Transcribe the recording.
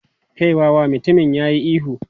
"Kai wawa!" Mutumin ya yi ihu.